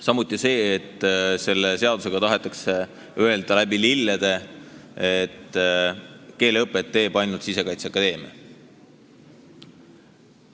Samuti ei sobi see, et selle seadusega tahetakse läbi lillede öelda, et keeleõpet teeb ainult Sisekaitseakadeemia.